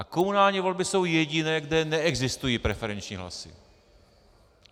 A komunální volby jsou jediné, kde neexistují preferenční hlasy.